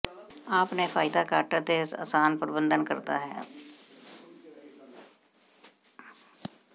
ਆਪਣੇ ਫਾਇਦਾ ਘੱਟ ਭਾਰ ਅਤੇ ਆਸਾਨ ਪਰਬੰਧਨ ਕਰਦਾ ਹੈ